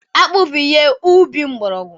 Akpu bu ihe ubi mgbọrọgwụ.